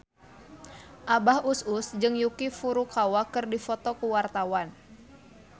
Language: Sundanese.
Abah Us Us jeung Yuki Furukawa keur dipoto ku wartawan